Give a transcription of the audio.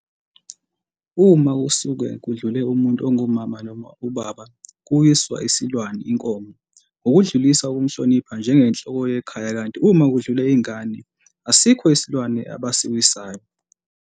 Uma kusuke kudlule umuntu ongu Mama noma uBaba kuwiswa isilwane, inkomo, ngokudlulisa ukumhlonipha njenge nhloko yekhaya kanti uma kudlule ingane asikho isilwane abasiwisayo.